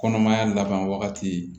Kɔnɔmaya laban wagati